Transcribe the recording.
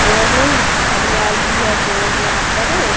और हरियाली है बहोत यहां पर।